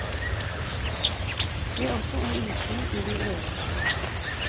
Be også om innsyn i din egen journal.